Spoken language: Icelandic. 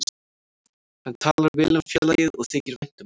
Hann talar vel um félagið og þykir vænt um það.